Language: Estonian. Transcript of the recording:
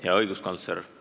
Hea õiguskantsler!